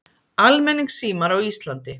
Almenningssímar á Íslandi